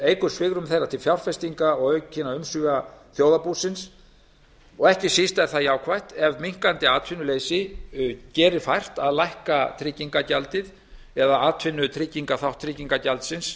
eykur svigrúm þeirra til fjárfestinga og aukinna umsvifa þjóðarbúsins og ekki síst er það jákvætt ef minnkandi atvinnuleysi gerir fært að lækka tryggingagjaldið eða atvinnutryggingaþátt tryggingagjaldsins